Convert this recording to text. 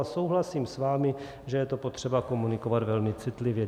A souhlasím s vámi, že je to potřeba komunikovat velmi citlivě.